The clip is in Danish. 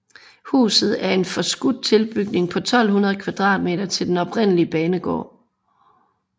Huset er en forskudt tilbygning på 1200 m² til den oprindelige banegård